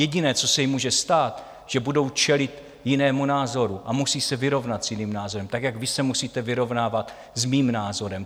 Jediné, co se jim může stát, že budou čelit jinému názoru a musí se vyrovnat s jiným názorem, tak, jak vy se musíte vyrovnávat s mým názorem.